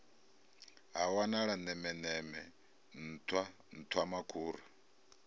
ha wanala nemeneme nṱhwa nṱhwamakhura